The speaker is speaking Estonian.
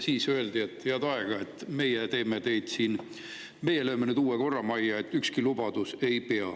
Siis öeldi, et head aega, meie lööme nüüd uue korra majja ja ükski lubadus ei pea.